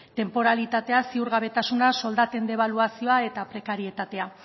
tenporalitatea ziurgabetasuna soldaten debaluazioa eta prekarietatea